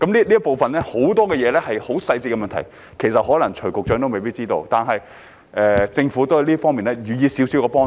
這部分有很多細緻的問題，可能徐副局長也未必知道，但政府在這方面也給予了少許幫助。